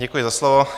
Děkuji za slovo.